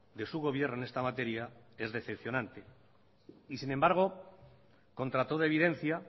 de su gobierno en esta materia es decepcionante y sin embargo contra toda evidencia